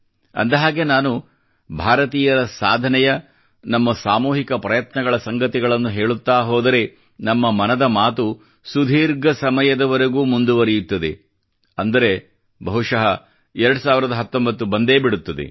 ಅಂದ ಹಾಗೆ ನಾನು ಭಾರತೀಯರ ಸಾಧನೆಯ ನಮ್ಮ ಸಾಮೂಹಿಕ ಪ್ರಯತ್ನಗಳ ಸಂಗತಿಗಳನ್ನು ಹೇಳುತ್ತಾ ಹೋದರೆ ನಮ್ಮ ಮನದ ಮಾತು ಸುದೀರ್ಘ ಸಮಯದವರೆಗೂ ಮುಂದುವರೆಯುತ್ತದೆ ಎಂದರೆ ಬಹುಶಃ 2019 ಬಂದೇ ಬಿಡುತ್ತದೆ